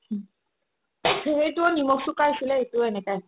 সেইটোও নিমখ চোকা হৈছিলে এইতোও এনেকাই